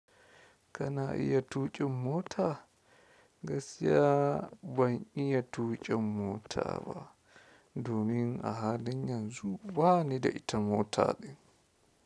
Kana iya tuƙin mota? Gaskiya ban iya tuƙin mota ba, domin a halin yanzu bani da ita mota ɗin.